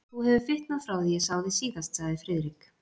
Þú hefur fitnað frá því ég sá þig síðast sagði Friðrik.